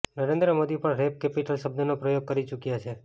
નરેન્દ્ર મોદી પણ rape capital શબ્દનો પ્રયોગ કરી ચૂક્યા છે